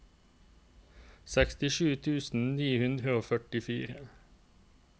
sekstisju tusen ni hundre og førtifire